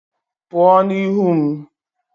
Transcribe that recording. Pụọ n'ihu m!